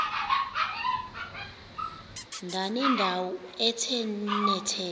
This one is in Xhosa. ndanendawo ethe nethe